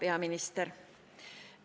Hea peaminister!